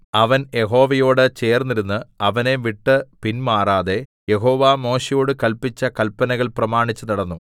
അവൻ യഹോവയോട് ചേർന്നിരുന്ന് അവനെ വിട്ട് പിന്മാറാതെ യഹോവ മോശെയോട് കല്പിച്ച കല്പനകൾ പ്രമാണിച്ചുനടന്നു